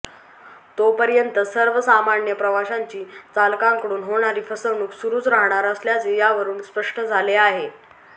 तोपर्यंत सर्वसामान्य प्रवाशांची चालकांकडून होणारी फसवणूक सुरूच राहणार असल्याचे यावरून स्पष्ट झाले आहे